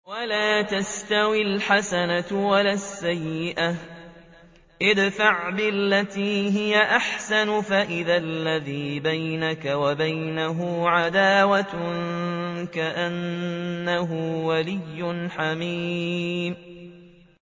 وَلَا تَسْتَوِي الْحَسَنَةُ وَلَا السَّيِّئَةُ ۚ ادْفَعْ بِالَّتِي هِيَ أَحْسَنُ فَإِذَا الَّذِي بَيْنَكَ وَبَيْنَهُ عَدَاوَةٌ كَأَنَّهُ وَلِيٌّ حَمِيمٌ